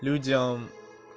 людям